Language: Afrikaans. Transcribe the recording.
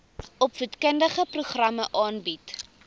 opvoedkundige programme aanbied